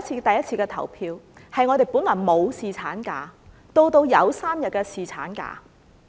上次的投票是我們由本來沒有侍產假，到有3天侍產假。